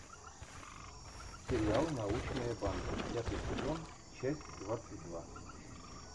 сериал научная банда пятый сезон часть двадцать два